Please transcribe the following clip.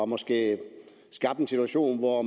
måske har skabt en situation hvor